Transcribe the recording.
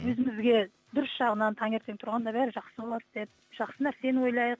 өзімізге дұрыс жағынан таңертең тұрғанда бәрі жақсы болады деп жақсы нәрсені ойлайық